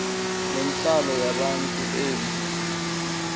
nentlalo yabantu ibe